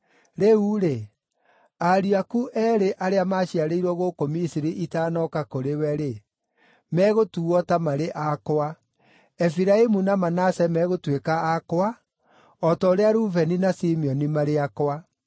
“Rĩu-rĩ, ariũ aku eerĩ arĩa maaciarĩirwo gũkũ Misiri itanooka kũrĩ we-rĩ, megũtuuo ta marĩ akwa; Efiraimu na Manase meegũtuĩka akwa, o ta ũrĩa Rubeni na Simeoni marĩ akwa.